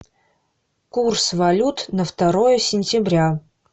курс валют на второе сентября